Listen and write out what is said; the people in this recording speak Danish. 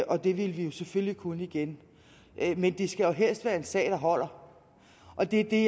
og det vil vi jo selvfølgelig kunne igen men det skal jo helst være en sag der holder og det er